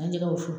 An ye jɛgɛ wusu